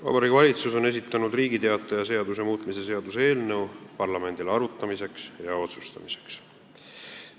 Vabariigi Valitsus on esitanud Riigi Teataja seaduse muutmise seaduse eelnõu parlamendile arutamiseks ja otsustamiseks.